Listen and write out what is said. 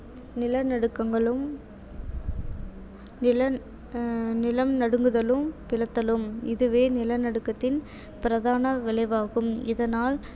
நில நடுக்கங்களும் நில ஆஹ் நிலம் நடுங்குதலும் பிளத்தலும் இதுவே நில நடுக்கத்தின் பிரதான விளைவாகும் இதனால்